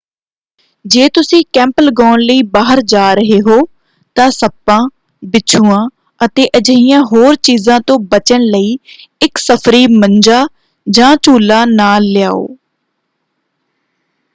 ਜੇ ਤੁਸੀਂ ਕੈਂਪ ਲਗਾਉਣ ਲਈ ਬਾਹਰ ਜਾ ਰਹੇ ਹੋ ਤਾਂ ਸੱਪਾਂ ਬਿੱਛੂਆਂ ਅਤੇ ਅਜਿਹੀਆਂ ਹੋਰ ਚੀਜ਼ਾਂ ਤੋਂ ਬਚਣ ਲਈ ਇੱਕ ਸਫਰੀ ਮੰਜਾ ਜਾਂ ਝੂਲਾ ਨਾਲ ਲਿਆਓ।